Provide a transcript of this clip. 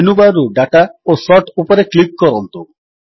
menu bar ରୁ ଦାତା ଓ ସୋର୍ଟ ଉପରେ କ୍ଲିକ୍ କରନ୍ତୁ